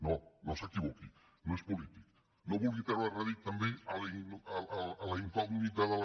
no no s’equivoqui no és polític no vulgui treure rèdit també a la incògnita de la